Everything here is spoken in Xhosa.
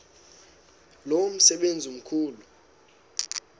lo msebenzi mkhulu